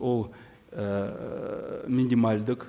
ол ііі минималдық